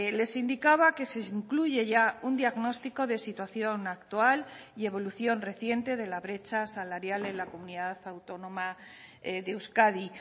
les indicaba que se incluye ya un diagnóstico de situación actual y evolución reciente de la brecha salarial en la comunidad autónoma de euskadi